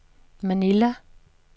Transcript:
Manila